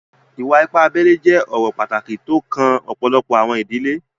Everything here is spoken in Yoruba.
Ìwà-ìpà àbèlè jẹ̀ ọ̀rọ̀ pátákì tó o kàn ọpọlọ́pọ̀ àwọn ìdílé.